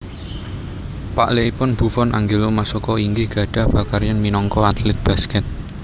Paklikipun Buffon Angelo Masocco inggih gadhah pakaryan minangka atlet basket